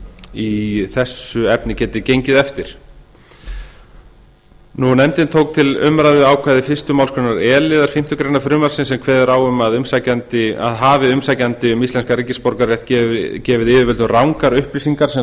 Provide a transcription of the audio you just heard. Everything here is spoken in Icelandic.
í þessu efni geti gengið eftir nefndin tók til umræðu ákvæði fyrstu málsgrein e liðar fimmtu grein frumvarpsins sem kveður á um að hafi umsækjandi um íslenskan ríkisborgararétt gefið yfirlit um rangar upplýsingar sem lágu